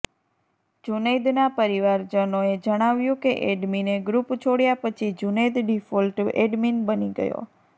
જુનૈદના પરિવારજનોએ જણાવ્યું કે એડમિને ગ્રુપ છોડ્યા પછી જુનૈદ ડિફોલ્ટ એડમિન બની ગયો